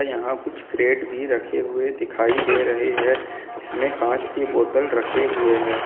यहां कुछ क्रेट भी रखे हुए दिखाई दे रहे हैं जिसमें कांच के बोतल रखे हुए हैं।